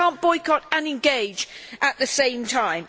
You cannot boycott and engage at the same time.